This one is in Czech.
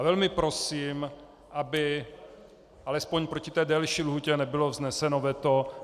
A velmi prosím, aby alespoň proti té delší lhůtě nebylo vzneseno veto.